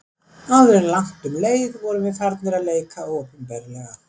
Áður en langt um leið vorum við farnir að leika opinberlega.